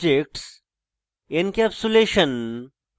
objects encapsulation এবং